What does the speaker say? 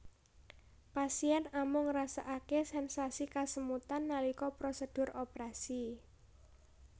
Pasien amung ngrasakaké sensasi kesemutan nalika prosedur operasi